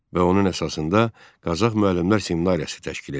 Və onun əsasında Qazax müəllimlər seminariyası təşkil edildi.